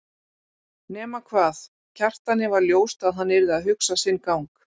Nema hvað, Kjartani var ljóst að hann yrði að hugsa sinn gang.